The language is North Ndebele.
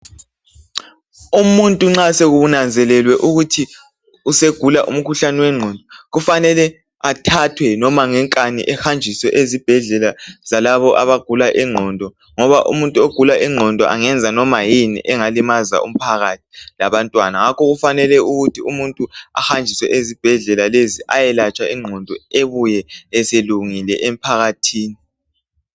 Umuntu nxa sekunanzelelwe ukuthi usegula umkhuhlane wengqondo, kufanele athathwe noma ngenkani, ehanjiswe ezibhedlela zalabo abagula ingqondo, ngoba umuntu ogula ingqondo angenza noma yini engalimaza abantwana loba umphakathi. Ngakho ke kufanele ukuthi umuntu ahanjiswe ezibhedleka lezi, ayelatshwa ingqondo. Abuye eselungile emphakathini.